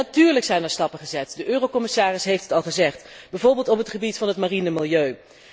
Natuurlijk zijn er stappen gezet, de commissaris heeft het al gezegd, bijvoorbeeld op het gebied van het mariene milieu.